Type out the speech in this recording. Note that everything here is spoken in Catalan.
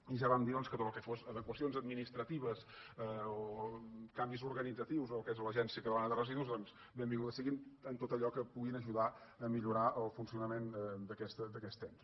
i ja vam dir que tot el que fossin adequacions administratives o canvis organitzatius en el que és l’agència catalana de residus doncs ben·vinguts siguin en tot allò que puguin ajudar a millorar el funcionament d’aquest ens